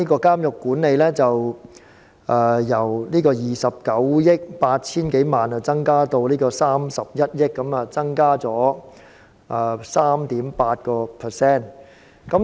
監獄管理的開支預算由29億 8,000 多萬元增至31億元，增加了1億元，增幅為 3.8%。